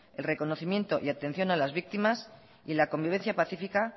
el reconocimiento y atención a las víctimas y la convivencia pacífica